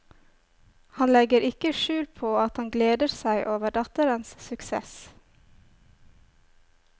Han legger ikke skjul på at han gleder seg over datterens suksess.